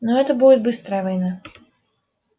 но это будет быстрая война